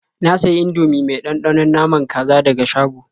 Na sayi Indomie mai ɗanɗanon naman kaza daga shago.